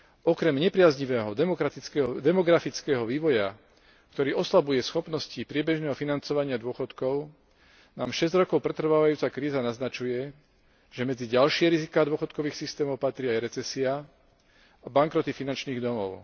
Okrem nepriaznivého demografického vývoja, ktorý oslabuje schopnosti priebežného financovania dôchodkov, nám šesť rokov pretrvávajúca kríza naznačuje, že medzi ďalšie riziká dôchodkových systémov patria aj recesia a bankroty finančných domov.